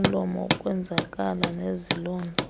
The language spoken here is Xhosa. somlomo ukwenzakala nezilonda